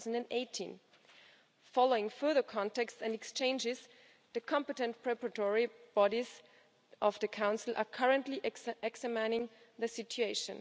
2018. Following further contacts and exchanges, the competent preparatory bodies of the Council are currently examining the situation.